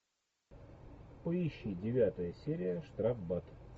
поищи девятая серия штрафбат